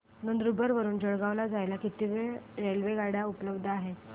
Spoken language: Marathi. नंदुरबार वरून जळगाव ला जायला किती रेलेवगाडया उपलब्ध आहेत